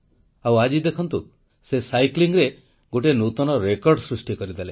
ଆଉ ଆଜି ଦେଖନ୍ତୁ ସେ ସାଇକେଲ ଚାଳନାରେ ନୂଆ ରେକର୍ଡ଼ କଲେ